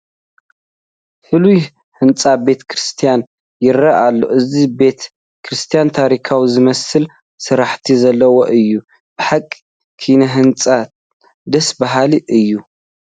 ፍሉይ ህንፃ ቤተ ክርስቲያን ይርአ ኣሎ፡፡ እዚ ቤተ ክርስቲያን ታሪካዊ ዝመስል ስርሓት ዘለዎ እዩ፡፡ ብሓቂ ኪነ ህንፅኡ ደስ በሃሊ እዩ፡፡